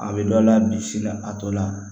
A bɛ dɔ la bi sini na a to la